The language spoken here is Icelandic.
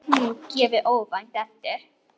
Að hún gefi óvænt eftir.